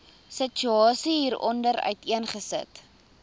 situasie hieronder uiteengesit